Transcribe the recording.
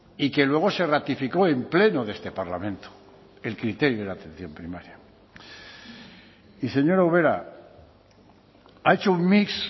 y que luego se ratificó en pleno de este parlamento el criterio de la atención primaria y señora ubera ha hecho un mix